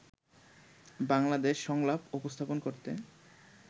বাংলাদেশ সংলাপ উপস্থাপন করতে